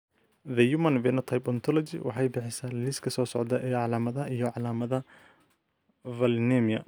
The Human Phenotype Ontology waxay bixisaa liiska soo socda ee calaamadaha iyo calaamadaha Valinemia.